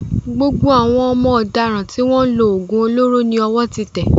Gbogbo àwọn ọmọ ọ̀daràn tó ń lo òògùn olóró ni ọwọ́ ti tẹ́